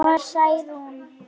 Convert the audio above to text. Ég segi það satt.